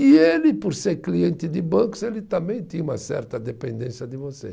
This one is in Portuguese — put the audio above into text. E ele, por ser cliente de bancos, ele também tinha uma certa dependência de você.